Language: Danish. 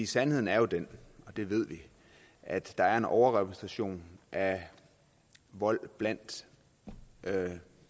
sandheden er jo den og det ved vi at der er en overrepræsentation af vold blandt